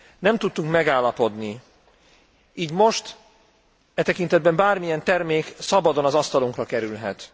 Nem tudtunk megállapodni, így most e tekintetben bármilyen termék szabadon az asztalunkra kerülhet.